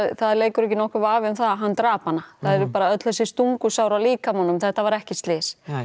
það leikur ekki nokkur vafi um það að hann drap hana það eru bara öll þessi stungusár á líkamanum þetta var ekki slys